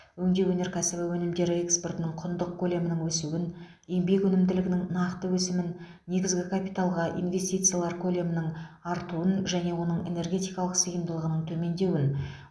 өңдеу өнеркәсібі өнімдері экспортының құндық көлемінің өсуін еңбек өнімділігінің нақты өсімін негізгі капиталға инвестициялар көлемінің артуын және оның энергиялық сыйымдылығының төмендеуін